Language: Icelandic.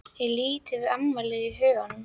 Ég lít yfir afmælið í huganum.